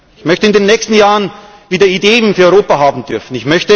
Ich möchte in den nächsten Jahren wieder Ideen für Europa haben dürfen.